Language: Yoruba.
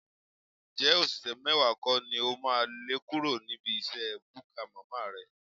Ǹjẹ́ òṣìṣẹ́ mẹ́wàá kọ́ ni o máa lé kúrò níbi iṣẹ́ búkà màmá rẹ?